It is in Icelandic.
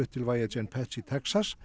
til ViaGen Pets í Texas